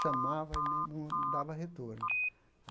Chamava e nem não dava retorno.